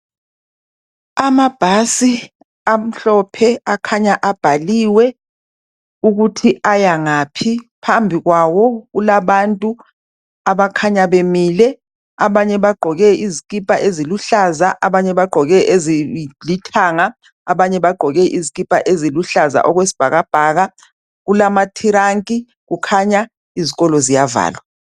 Amabhasi amhlophe akhanya abhaliwe ukuthi aya ngaphi. Phambi kwawo kulabantu abakhanya bemile abanye bagqoke izikipa eziluhlaza abanye bagqoke ezilithanga, abanye bagqoke izikipa eziluhlaza okwesibhakabhaka, kulamathiranki kukhanya izikolo ziyavalwa.